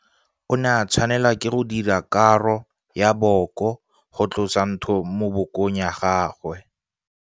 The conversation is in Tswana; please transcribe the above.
O ne a tshwanelwa ke go dira karo ya booko go tlosa ntho mo bookong jwa gagwe.